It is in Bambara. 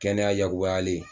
Kɛnɛya yakubayalen